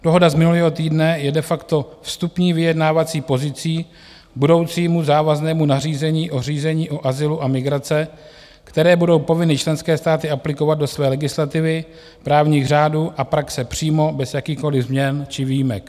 Dohoda z minulého týdne je de facto vstupní vyjednávací pozicí budoucímu závaznému nařízení o řízení o azylu a migraci, které budou povinny členské státy aplikovat do své legislativy, právních řádů a praxe přímo, bez jakýchkoliv změn či výjimek.